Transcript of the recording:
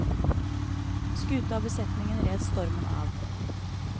Skuta og besetningen red stormen av.